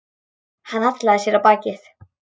Hann hallaði sér á bakið.